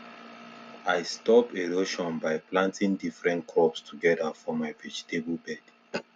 i stop erosion by planting different crops together for my vegetable bed